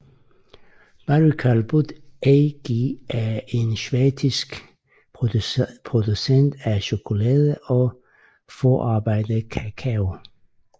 Barry Callebaut AG er en schweizisk producent af chokolade og forarbejdet kakao